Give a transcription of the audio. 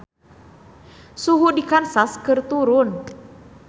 Suhu di Kansas keur turun